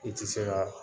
I ti se ka